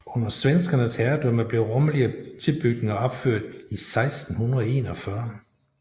Under svenskernes herredømme blev rummelige tilbygninger opført i 1641